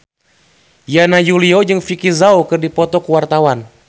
Yana Julio jeung Vicki Zao keur dipoto ku wartawan